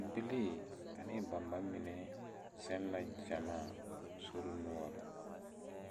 Bibilii ane ba ma mine zeŋ la gyamaa sori noɔre